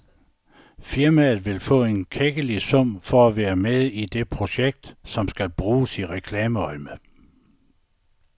Firmaet vil få en klækkelig sum for at være med i det projekt, som skal bruges i reklameøjemed.